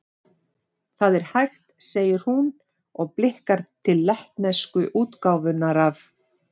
Það er hægt, segir hún, og blikkar til lettnesku útgáfunnar af